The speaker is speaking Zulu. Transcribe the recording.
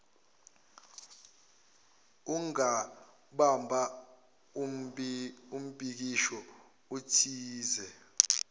ungabamba umbhikisho utoyize